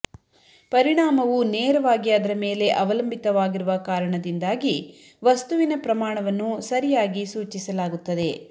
ಪರಿಣಾಮವು ನೇರವಾಗಿ ಅದರ ಮೇಲೆ ಅವಲಂಬಿತವಾಗಿರುವ ಕಾರಣದಿಂದಾಗಿ ವಸ್ತುವಿನ ಪ್ರಮಾಣವನ್ನು ಸರಿಯಾಗಿ ಸೂಚಿಸಲಾಗುತ್ತದೆ